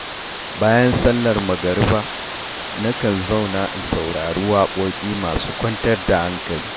Bayan sallar magriba, nakan zauna in saurari waƙoƙi masu kwantar da hankali.